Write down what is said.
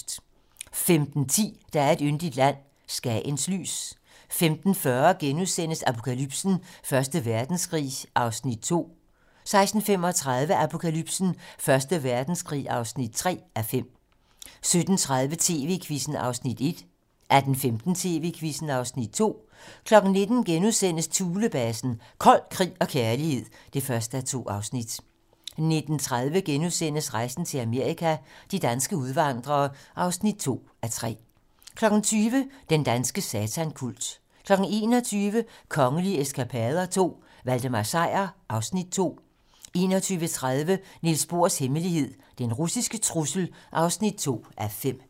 15:10: Der er et yndigt land - Skagens lys 15:40: Apokalypsen: Første Verdenskrig (2:5)* 16:35: Apokalypsen: Første Verdenskrig (3:5) 17:30: TV-Quizzen (Afs. 1) 18:15: TV-Quizzen (Afs. 2) 19:00: Thulebasen - kold krig og kærlighed (1:2)* 19:30: Rejsen til Amerika - de danske udvandrere (2:3)* 20:00: Den danske satankult 21:00: Kongelige eskapader II - Valdemar Sejr (Afs. 2) 21:30: Niels Bohrs hemmelighed: Den russiske trussel (2:5)